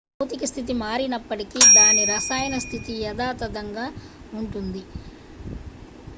భౌతిక స్థితి మారినప్పటికీ దాని రసాయన స్థితి యథాతథంగా ఉంటుంది